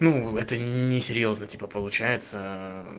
ну это несерьёзно типа получается